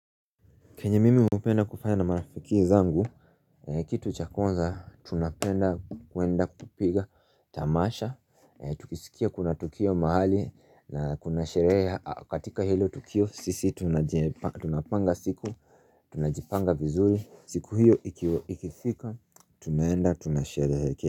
Kenye mimi hupenda kufanya na marafiki zangu Kitu cha kwanza tunapenda kwenda kupiga tamasha Tukisikia kuna tukio mahali na kuna sherehe katika hilo tukio sisi tunapanga siku Tunajipanga vizuri siku hiyo ikifika tunaenda tunasherehekea.